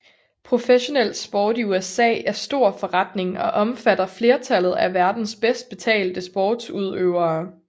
Professionel sport i USA er stor forretning og omfatter flertallet af verdens bedst betalte sportsudøvere